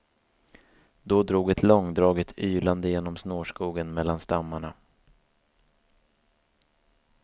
Då drog ett långdraget ylande genom snårskogen mellan stammarna.